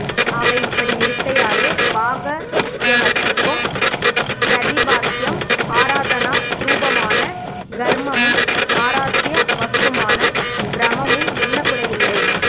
ஆக இப்படி இருக்கையாலே பாக த்வயத்துக்கும் பிரதிபாத்யம் ஆராதனா ஸ்ரூபமான கர்மமும் ஆராத்ய வஸ்துவான பிரமமும் என்ன குறை இல்லை